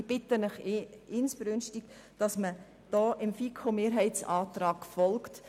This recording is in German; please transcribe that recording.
Ich bitte Sie inständig, dem FiKo-Mehrheitsantrag zu folgen.